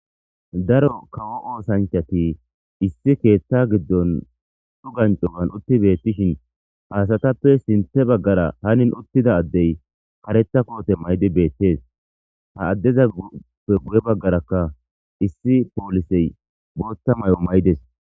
Daro kawo osanchateti issi ketha gidon c'ugan c'ugan utidaysi betishe he asatape ha asatape sinta bagara hani utida asay karetha kote ma'id betes ha adezape guye bagaraka issi police bota mayo mayides.